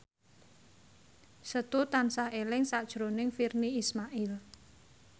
Setu tansah eling sakjroning Virnie Ismail